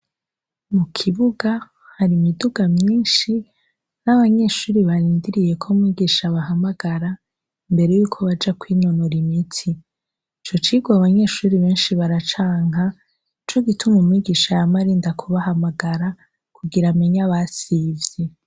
Mu kibuga hari imiduga myinshi n'abanyeshure barindiriye ko mwigisha abahamagara imbere yuko baja kwinonora imitsi . Ico cigwa abanyeshure benshi baracanka nico gituma umwigisha yama arinda kubahamagara kugira amenye abasivye.